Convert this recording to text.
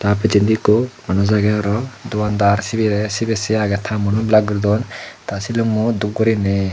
tey pijsendi ekko manuj agey aro dogan dar sibey sibey se agey ta muono blar guridon ta silummo dup gurinei.